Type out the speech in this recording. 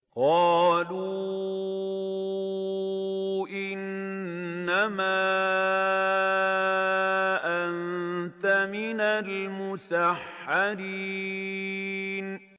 قَالُوا إِنَّمَا أَنتَ مِنَ الْمُسَحَّرِينَ